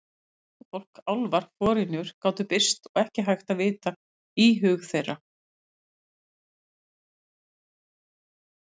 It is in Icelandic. Huldufólk, álfar, forynjur gátu birst og ekki hægt að vita í hug þeirra.